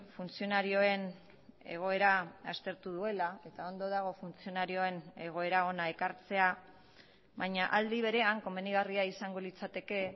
funtzionarioen egoera aztertu duela eta ondo dago funtzionarioen egoera hona ekartzea baina aldi berean komenigarria izango litzateke